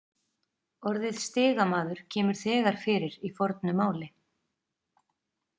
Orðið stigamaður kemur þegar fyrir í fornu máli.